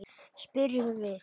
spyrjum við.